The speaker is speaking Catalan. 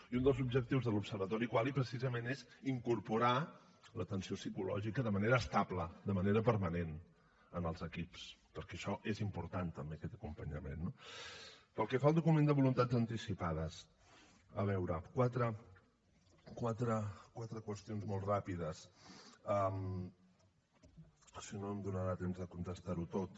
i un dels objectius de l’observatori qualy precisament és incorporar l’atenció psicològica de manera estable de manera permanent en els equips perquè això és important també aquest acompanyament no pel que fa al document de voluntats anticipades a veure quatre qüestions molt ràpides si no no em donarà temps de contestar ho tot